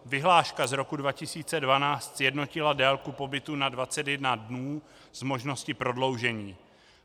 Vyhláška z roku 2012 sjednotila délku pobytu na 21 dnů s možností prodloužení.